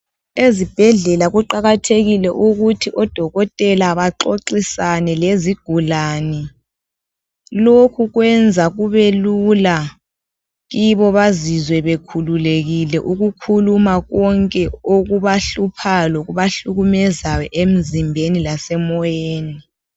Ezibhedlela kuqakathekile ukuthi odokotela baxoxisane lezigulane. Lokhu kwenza kubelula kibo bazizwe bekhululekile ukukhuluma konke okubahluphayo lokubahlukumezayo emzimbeni lasemoyeni.